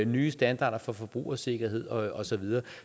nye standarder for forbrugersikkerhed og og så videre